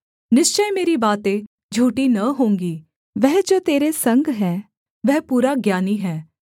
निश्चय मेरी बातें झूठी न होंगी वह जो तेरे संग है वह पूरा ज्ञानी है